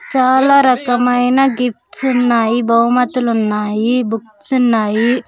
చాలా రకమైన గిఫ్ట్స్ ఉన్నాయి బహుమతులు ఉన్నాయి బుక్స్ ఉన్నాయి.